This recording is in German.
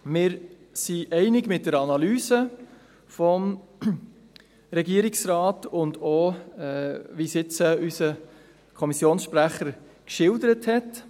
Wir gehen mit der Analyse des Regierungsrates einig, auch so, wie es der Kommissionssprecher geschildert hat.